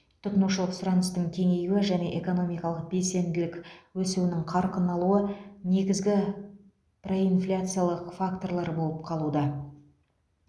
тұтынушылық сұраныстың кеңеюі және экономикалық белсенділік өсуінің қарқын алуы негізгі проинфляциялық факторлар болып қалуда